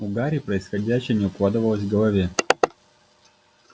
у гарри происходящее не укладывалось в голове